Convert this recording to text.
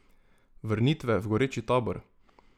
Vrnitve v goreči tabor.